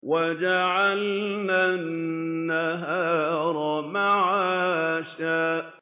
وَجَعَلْنَا النَّهَارَ مَعَاشًا